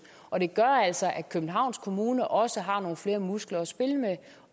og det gør altså at københavns kommune også har nogle flere muskler at spille med